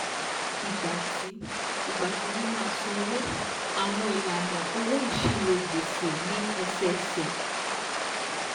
Ìgbà tí Ìgbà tí wọ́n máa sanwó, àwọn ìlànà owó ìṣirò gbèsè ní ẹsẹẹsẹ.